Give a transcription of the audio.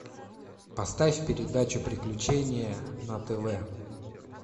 поставь передачу приключения на тв